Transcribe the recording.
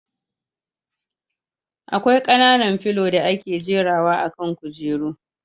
Akwai kananan filo da ake jera wa akan kujeru